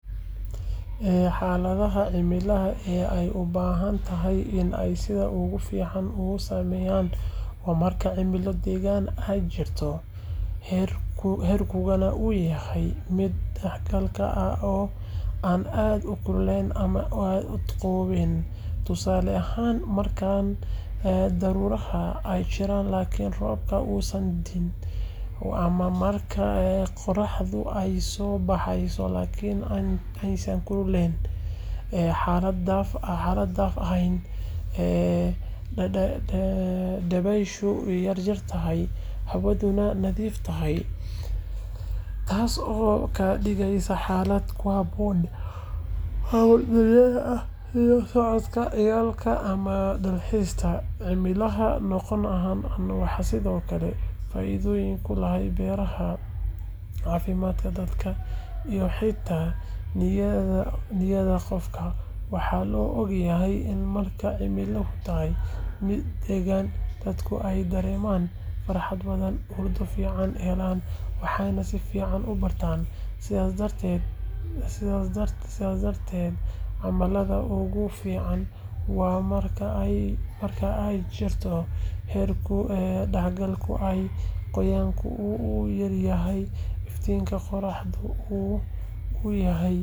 Xaaladaha cimilada ee ay u badan tahay in ay sida ugu fiican u sameeyaan waa marka cimilo deggan ay jirto, heerkulka uu yahay mid dhexdhexaad ah oo aan aad u kululayn ama u qabowayn. Tusaale ahaan, marka daruuraha ay jiraan laakiin roobka uusan da’in, ama marka qorraxdu ay soo baxayso laakiin aanay kulayn xad-dhaaf ahayn. Dabaysha yartahay, hawaduna nadiif tahay, taasoo ka dhigaysa xaalad ku habboon hawlo dibadda ah sida socodka, ciyaaraha, ama dalxiiska. Cimilada noocan ah waxay sidoo kale faa’iido u leedahay beeraha, caafimaadka dadka, iyo xitaa niyadda qofka. Waxaa la ogyahay in marka cimiladu tahay mid daggan, dadka ay dareemaan farxad badan, hurdo fiican helaan, waxna si fiican u bartaan. Sidaas darteed, xaaladaha ugu fiican waa marka ay jirto heerkul dhexdhexaad ah, qoyaanku uu yar yahay, iftiinka qoraxduna uu yahay mid aan indhaha dhibin laakiin deeqsi ah. Tani waa sababta dadka badankood ay u doorbidaan cimilada guga ama dayrta, maxaa yeelay xilliyadaas ayaa lagu arkaa cimilada ugu macaan uguna saameynta wanaagsan.